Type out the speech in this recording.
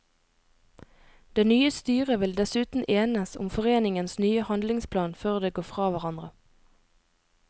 Det nye styret vil dessuten enes om foreningens nye handlingsplan før det går fra hverandre.